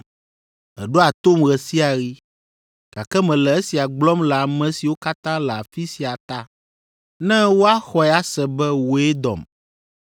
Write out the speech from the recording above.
Èɖoa tom ɣe sia ɣi, gake mele esia gblɔm le ame siwo katã le afi sia ta, ne woaxɔe ase be wòe dɔm.”